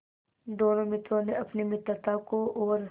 दोनों मित्रों ने अपनी मित्रता को और